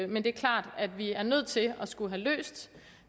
men det er klart at vi er nødt til at skulle have løst